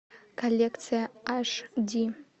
коллекция аш ди